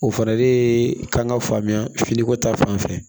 O fana de ye kan ka faamuya finiko ta fanfɛ